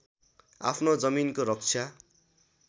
आफ्नो जमिनको रक्षा